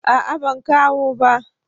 A'a ban kawo ba